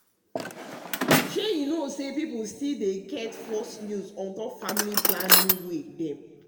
shey you know pipo still dey get false news on top family planning way dem.